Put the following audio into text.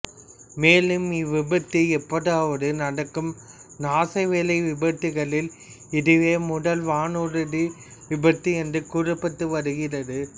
மேலும் இவ்விபத்து எப்போதாவது நடக்கும் நாசவேலை விபத்துக்களில் இதுவே முதல் வானூர்தி விபத்து என்று கூறப்பட்டு வருகிறது